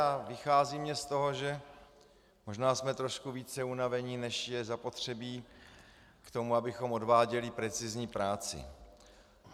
A vychází mně z toho, že možná jsme trošku více unaveni, než je zapotřebí k tomu, abychom odváděli precizní práci.